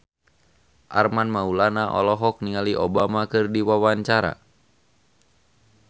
Armand Maulana olohok ningali Obama keur diwawancara